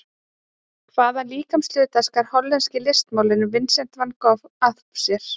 Hvaða líkamshluta skar hollenski listmálarinn Vincent Van Gogh af sér?